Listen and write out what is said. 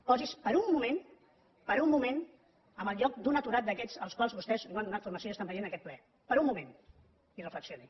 posi’s per un moment per un moment en el lloc d’un aturat d’aquests als quals vostès no han donat formació i estan veient aquest ple per un moment i reflexioni